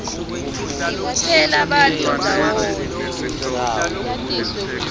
tibutsela bantfu ndzawonye